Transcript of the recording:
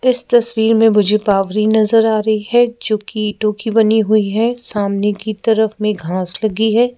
इस तस्वीर में मुझे पावरी नज़र आ रही है जो की ईंटों की बनी हुई है सामने की तरफ में घास लगी है।